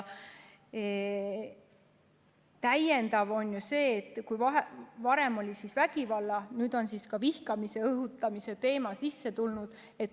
Täiendamine seisneb selles, et kui varem oli ainult vägivalla teema, siis nüüd on ka vihkamise õhutamise teema sisse toodud.